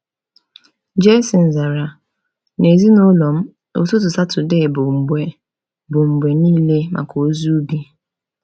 Jayson zara: “N’ezinụlọ m, ụtụtụ Satọdee bụ mgbe bụ mgbe niile maka ozi ubi.”